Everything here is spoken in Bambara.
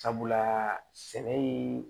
Sabula sɛnɛ ye